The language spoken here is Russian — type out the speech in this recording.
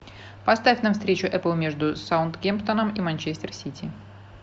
поставь нам встречу апл между саутгемптоном и манчестер сити